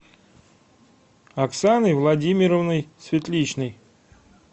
оксаной владимировной светличной